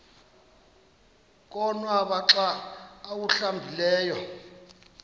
konwaba xa awuhlambileyo